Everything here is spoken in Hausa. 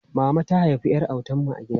Mama ta haifi ƴar autan mu a gida.